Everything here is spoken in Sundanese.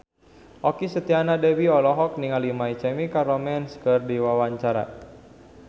Okky Setiana Dewi olohok ningali My Chemical Romance keur diwawancara